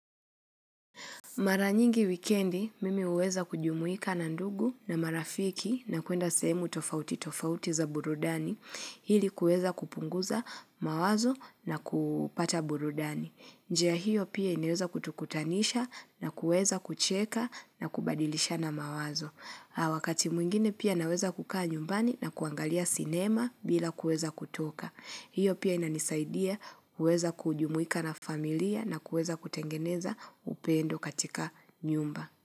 Mara nyingi wikendi mimi huweza kujumuika na ndugu na marafiki na kuenda sehemu tofauti tofauti za burudani ili kuweza kupunguza mawazo na kupata burudani. Njia hiyo pia inaweza kutukutanisha na kuweza kucheka na kubadilishana mawazo. Wakati mwingine pia naweza kukaa nyumbani na kuangalia sinema bila kueza kutoka. Hiyo pia inanisaidia kuweza kujumuika na familia na kuweza kutengeneza upendo katika nyumba.